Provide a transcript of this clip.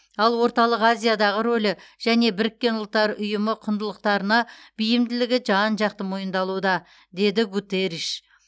ал орталық азиядағы рөлі және біріккен ұлттар ұйымы құндылықтарына бейілділігі жан жақты мойындалуда деді гутерриш